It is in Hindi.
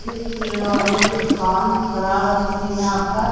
ये खिलौने की दुकान बना रखी यहां पर।